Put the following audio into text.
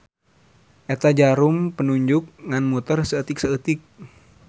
Eta jarum penunjuk ngan muter saeutik-saeutik.